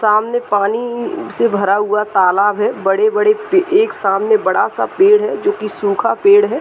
सामने पानी से भरा हुआ तालाब है। बड़े-बड़े पे एक सामने बड़ा-सा पेड़ है जो कि सुखा पेड़ है।